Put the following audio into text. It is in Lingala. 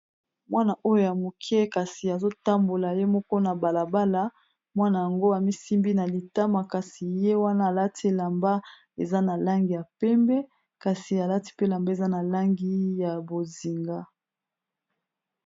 Mwana oyo ya moke kasi azo tambola ye moko na bala bala, mwana yango ami simbi na litama kasi ye wana alati elamba eza na langi ya pembe kasi alati pe elamba eza na langi ya bozinga.